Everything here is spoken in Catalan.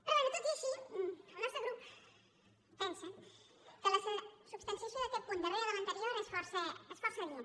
però bé tot i així el nostre grup pensa que la substanciació d’aquest punt darrere de l’anterior és força adient